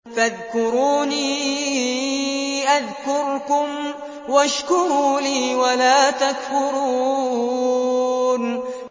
فَاذْكُرُونِي أَذْكُرْكُمْ وَاشْكُرُوا لِي وَلَا تَكْفُرُونِ